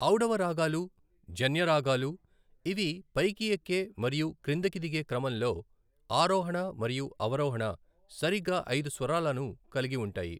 ఔడవ రాగాలు జన్య రాగాలు, ఇవి పైకి ఎక్కే మరియు క్రిందికి దిగే క్రమంలో, ఆరోహణ మరియు అవరోహణ సరిగ్గా ఐదు స్వరాలను కలిగి ఉంటాయి.